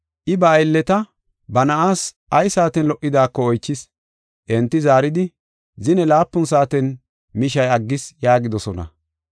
I ba aylleta ba na7aas ay saaten lo77idaako oychis. Enti zaaridi, “Zine laapun saaten mishay aggis” yaagidosona.